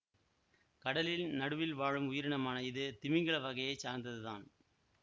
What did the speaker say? கடலின் நடுவில் வாழும் உயிரினமான இது திமிங்கில வகையை சார்ந்ததுதான்